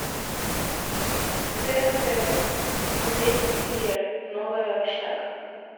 тнт смотреть универ новая общага